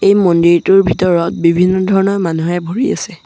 এই মন্দিৰটোৰ ভিতৰত বিভিন্ন ধৰণৰ মানুহে ভৰি আছে।